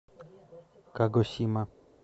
кагосима